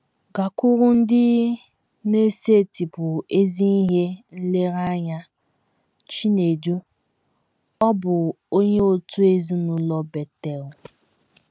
“ Gakwuru ndị... na - esetịpụ ezi ihe nlereanya. ” Chinedu, ọ bụ onye òtù ezinụlọ Betel